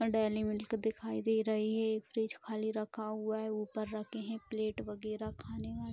dairy milk दिखाई दे रही है ये फ्रिज खाली रखा हुआ है ऊपर रखे हैं प्लेट वगैरह खाने वाली --